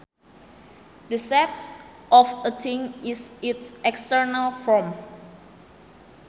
The shape of a thing is its external form